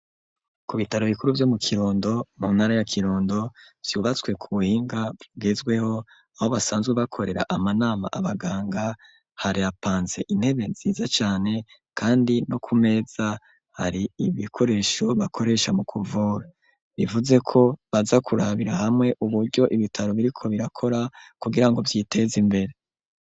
Ku bitaro bikuru byo mu kirundo mu ntara ya kirondo vyubatswe ku buhinga bugezweho aho basanzwe bakorera amanama abaganga hari hapanze intebe nziza cane kandi no ku meza hari ibikoresho bakoresha mu kuvura bivuze ko baza kurabira hamwe uburyo ibitaro biriko birakora kugirango vyiteze imbere.